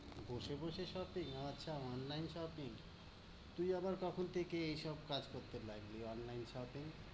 বসে বসে shopping? আচ্ছা online shopping । তুই আবার কখন থেকে এইসব কাজ করতে লাগলি, online shopping?